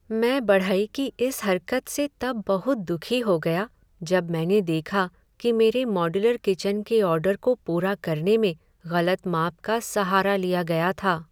मैं बढ़ई की इस हरकत से तब बहुत दुखी हो गया जब मैंने देखा कि मेरे मॉड्यूलर किचन के ऑर्डर को पूरा करने में गलत माप का सहारा लिया गया था।